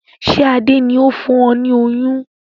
Ṣé Adé ni ó fún ọ ní oyún?